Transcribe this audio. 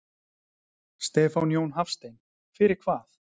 Stefán Jón Hafstein: Fyrir hvað?